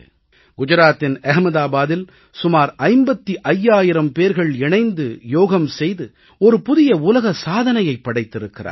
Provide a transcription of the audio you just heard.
குஜராத்தின் அஹ்மதாபாத்தில் சுமார் 55 ஆயிரம் பேர்கள் இணைந்து யோகம் செய்து ஒரு புதிய உலக சாதனையைப் படைத்திருக்கிறார்கள்